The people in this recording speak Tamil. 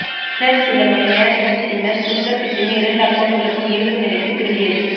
பின்னர்ச் சில மணி நேரங்களுக்குப் பின்னர்ச் சுந்தர் பிச்சையின் இரண்டு அக்கவுண்ட்களும் இயல்பு நிலைக்குத் திரும்பியது